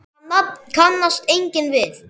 Það nafn kannast enginn við.